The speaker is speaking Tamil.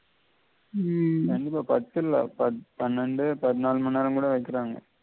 உம் கண்டிப்பா பத்து இல்ல பன்னெண்டு பதினாலு மணிநேரம் கூட வெக்கிறாங்க